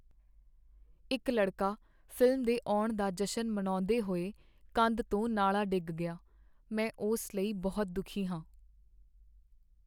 ਇੱਕ ਲੜਕਾ ਫ਼ਿਲਮ ਦੇ ਆਉਣ ਦਾ ਜਸ਼ਨ ਮਨਾਉਂਦੇ ਹੋਏ ਕੰਧ ਤੋਂ ਨਾਲਾਂ ਡਿੱਗ ਗਿਆ। ਮੈਂ ਉਸ ਲਈ ਬਹੁਤ ਦੁਖੀ ਹਾਂ।